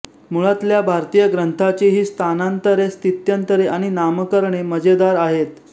मुळातल्या भारतीय ग्रंथाची ही स्थानांतरे स्थित्यंतरे आणि नामकरणे मजेदार आहेत